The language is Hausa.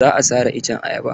Za a sare iccen ayaban.